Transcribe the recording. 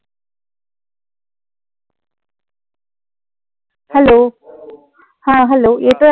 hello हा hello येतोय आता